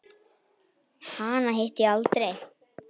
Hana hitti ég aldrei.